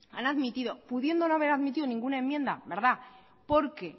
han admitido pudiendo no haber admitido ninguna enmienda verdad porque